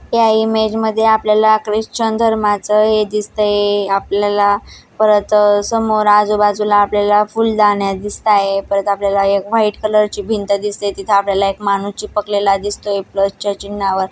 या इमेज मध्ये आपल्याला ख्रिश्चन धर्माचा हे दिसतय आपल्याला परत समोर आजूबाजूला आपल्याला फुलदाण्या दिसताय परत आपल्याला एक व्हाईट कलर ची भिंत दिसतेय तिथ आपल्याला एक माणूस चिपकलेला दिसतोय प्लस च्या चिन्हावर --